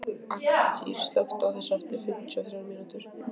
Angantýr, slökktu á þessu eftir fimmtíu og þrjár mínútur.